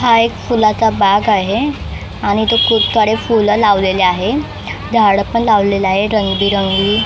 हा एक फुलाचा बाग आहे आणि इथं खूप साडे फुलं लावलेले आहे झाडं पण लावलेले आहे रंगबेरंगी .